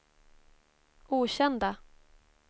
okända